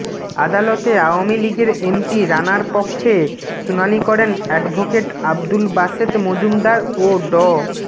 আদালতে আওয়ামী লীগের এমপি রানার পক্ষে শুনানি করেন অ্যাডভোকেট আব্দুল বাসেত মজুমদার ও ড